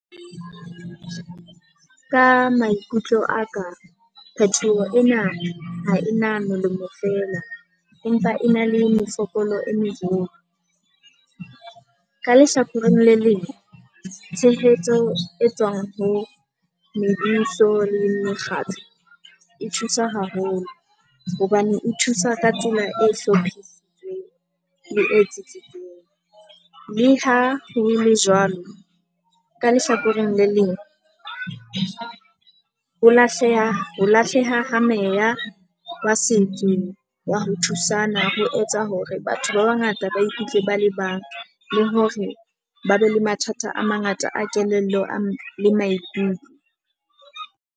Ka maikutlo a ka kgetho ena ha ena molemo feela, empa e na le mefokolo e meholo. Ka lehlakoreng le leng, tshehetso e tswang ho lebitso le mekgatlo e thusa haholo hobane e thusa ka tsela e hlophisitsweng le e tsitsitseng. Le ha ho le jwalo ka lehlakoreng le leng ho lahleha ho lahleha ha meya wa setso wa ho thusana ho etsa hore batho ba bangata ba ukutlwe ba le bang, le hore ba be le mathata a mangata a kelello a le maikutlo.